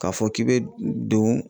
K'a fɔ k'i bɛ don